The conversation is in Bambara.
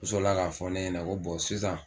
U sɔrɔla ka fɔ ne ɲɛna ko sisan